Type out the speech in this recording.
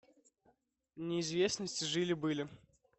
неизвестность жили были